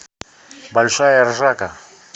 большая ржака